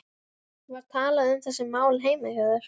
Var talað um þessi mál heima hjá þér?